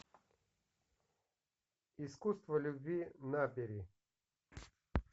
искусство любви набери